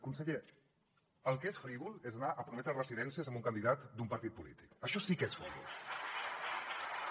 conseller el que és frívol és anar a prometre residències a un candidat d’un partit polític això sí que és frívol